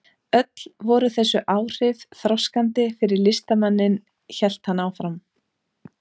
Öll voru þessi áhrif þroskandi fyrir listamanninn hélt hann áfram.